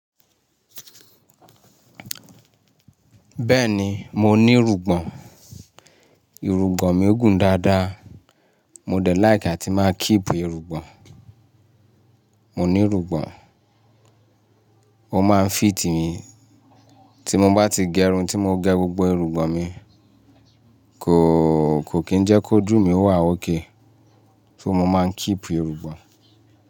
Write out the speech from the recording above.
Bẹ́ẹ̀ ni mo ní irùngbọ̀n. Irùgbọ̀n mi gùn dáadáa. Mo dẹ̀ like àti máa keep irùngbọ̀n. Mo ní irùngbọ̀n, ó máa ń fit mi. Tí mo bá ti gẹrun tí mo gẹ gbogbo irùngbọ̀n mi, kò kí ń jẹ́ kó ojú mi wà ọ́kẹ́. Só mo máa ń keep irùgbọ̀n.